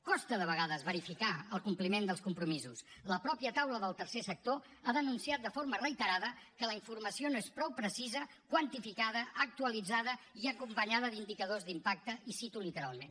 costa de vegades verificar el compliment dels compromisos la mateixa taula del tercer sector ha denunciat de forma reiterada que la informació no és prou precisa quantificada actualitzada i acompanyada d’indicadors d’impacte i ho cito literalment